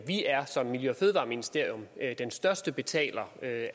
vi er som miljø og fødevareministerium den største betaler af